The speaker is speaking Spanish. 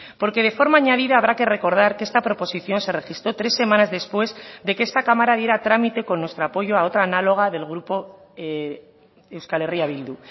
porque de forma añadida habrá que recordar que esta proposición se registró tres semanas después de que esta cámara diera a trámite con nuestro apoyo a otra análoga del grupo euskal herria bildu